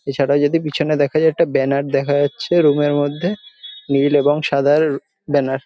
এছাড়া যদি পেছনে দেখা যায় একটা ব্যানার দেখা যাচ্ছে রুম এর মধ্যে নীল এবং সাদার ব্যানার ।